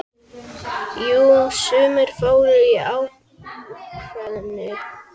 Jú, sumir fóru í kvæðin.